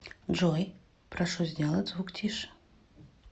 джой прошу сделать звук тише